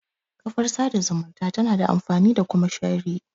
Kafar sada zumunta tana da amfani da kuma shirri